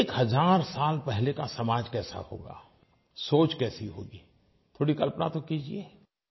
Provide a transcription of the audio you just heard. एक हज़ार साल पहले का समाज कैसा होगा सोच कैसी होगी थोड़ी कल्पना तो कीजिये